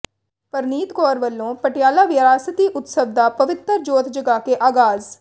ਪਰਨੀਤ ਕੌਰ ਵੱਲੋਂ ਪਟਿਆਲਾ ਵਿਰਾਸਤੀ ਉਤਸਵ ਦਾ ਪਵਿੱਤਰ ਜੋਤ ਜਗਾ ਕੇ ਆਗ਼ਾਜ਼